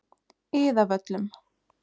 Iðavöllum